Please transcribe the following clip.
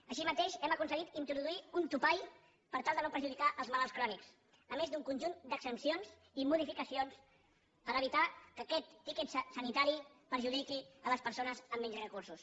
així mateix hem aconseguit introduir un topall per tal de no perjudicar els malalts crònics a més d’un conjunt d’exempcions i de modificacions per evitar que aquest tiquet sanitari perjudiqui les persones amb menys recursos